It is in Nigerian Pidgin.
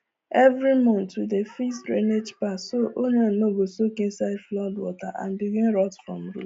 every month we dey fix drainage path so onion no go soak inside flood water and begin rot from